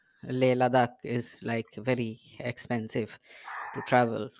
Leh Ladakh is like to very expensive to travel